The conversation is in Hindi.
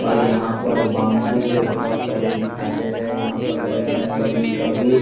और यहां पर बाम्बू से बहुत सारे दिखाई दे रहे हैं यहां पर बजरंगबली का भी अ मंदिर--